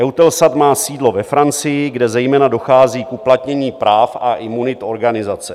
EUTELSAT má sídlo ve Francii, kde zejména dochází k uplatnění práv a imunit organizace.